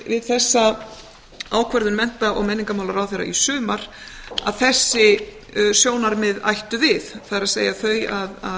við þessa ákvörðun mennta og menningarmálaráðherra í sumar að þessi sjónarmið ættu við það er þau að